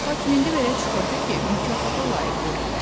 Lakin indi belə çıxırdı ki, mükafata layiq görürlər.